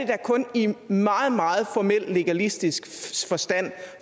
da kun i i meget meget formel legalistisk forstand